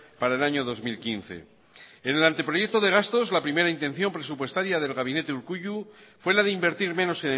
para el año dos mil quince en el anteproyecto de gastos la primera intención presupuestaria del gabinete urkullu fue la de invertir menos